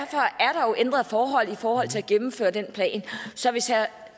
ændrede forhold i forhold til at gennemføre den plan så hvis herre